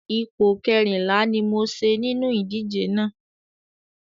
Ipò kẹrìnlá ni mo ṣe nínú ìdíje náà.